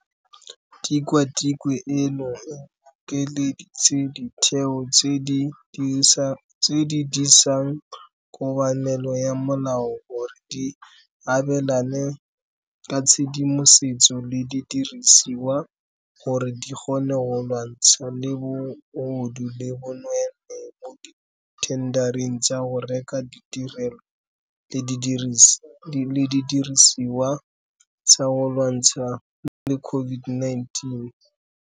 Tikwatikwe eno e bokeleditse ditheo tse di disang kobamelo ya molao gore di abelane ka tshedimosetso le didirisiwa gore di kgone go lwantshana le bogodu le bo nweenwee mo dithendareng tsa go reka ditirelo le didirisiwa tsa go lwantshana le COVID-19.